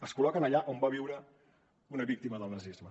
es col·loquen allà on va viure una víctima del nazisme